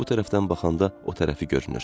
Bu tərəfdən baxanda o tərəfi görünür.